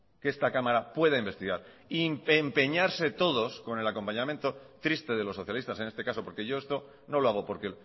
que esta cámara pueda investigar y empeñarse todos con el acompañamiento triste de los socialistas en este caso por que yo esto no lo hago porque